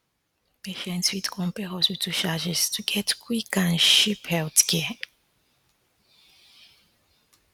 patients fit compare hospital charges to get quick and cheap healthcare